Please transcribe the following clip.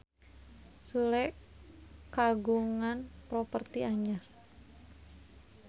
Sule kagungan properti anyar